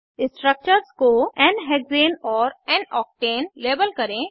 structures को n hexane और n octane label करें